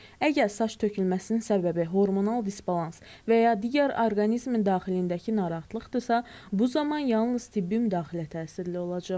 Əgər saç tökülməsinin səbəbi hormonal disbalans və ya digər orqanizmin daxilindəki narahatlıqdırsa, bu zaman yalnız tibbi müdaxilə təsirli olacaq.